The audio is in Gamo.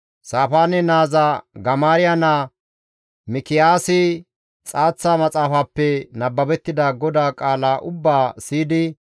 Saafaane naaza Gamaariya naa Mikiyaasi xaaththa maxaafappe nababettida GODAA qaala ubbaa siyidi,